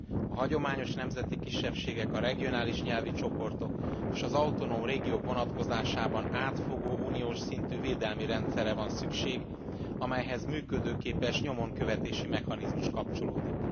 A hagyományos nemzeti kisebbségek, a regionális nyelvi csoportok és az autonóm régiók vonatkozásában átfogó uniós szintű védelmi rendszerre van szükség, amelyhez működőképes nyomon követési mechanizmus kapcsolódik.